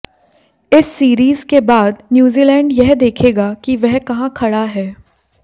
इस सीरीज के बाद न्यूजीलैंड यह देखेगा कि वह कहां खड़ा है